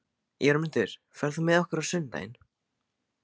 Jörmundur, ferð þú með okkur á sunnudaginn?